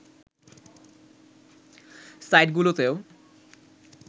সাইটগুলোতেও